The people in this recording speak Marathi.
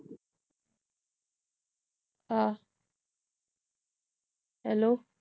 हा hello